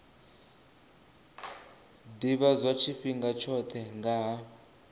ḓivhadzwa tshifhinga tshoṱhe nga ha